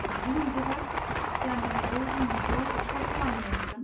बिदि नंजोबा। जानो हागौ जों ज' एक्सप्ल'र खालामनो हागोन।